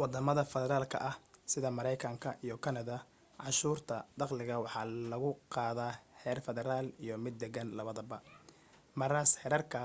waddamada federaalka ah sida maraykanka iyo kanada cashuurta dakhliga waxa lagu qaadaa heer federaal iyo mid deegaan labadaba maraas heerarka